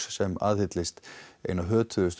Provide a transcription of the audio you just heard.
sem aðhyllast eina